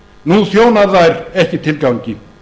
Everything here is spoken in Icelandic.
nú þjónar þær ekki tilgangi